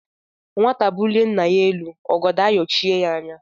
Nwata bulie nna ya elu, ọgọdọ ayọchie ya anya.